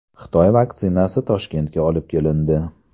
Xitoy vaksinasi Toshkentga olib kelindi.